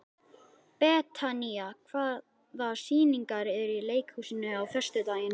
Betanía, hvaða sýningar eru í leikhúsinu á föstudaginn?